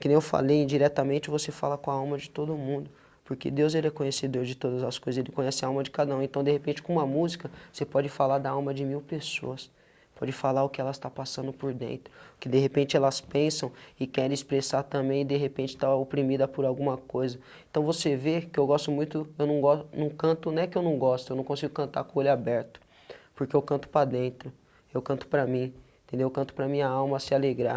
que nem eu falei indiretamente você fala com a alma de todo mundo porque Deus ele é conhecedor de todas as coisas ele conhece a alma de cada um então de repente com uma música você pode falar da alma de mil pessoas pode falar o que ela está passando por dentro que de repente elas pensam e querem expressar também de repente estava oprimida por alguma coisa então você vê que eu gosto muito eu não gos eu não canto né que eu não gosto eu não consigo cantar com o olho aberto porque eu canto para dentro eu canto para mim entendeu canto para minha alma se alegrar